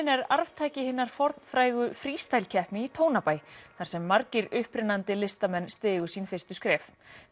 er arftaki hinnar fornfrægu keppni í Tónabæ þar sem margir upprennandi listamenn stigu sínu fyrstu skref